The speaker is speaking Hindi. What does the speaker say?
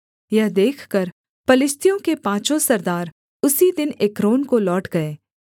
यह देखकर पलिश्तियों के पाँचों सरदार उसी दिन एक्रोन को लौट गए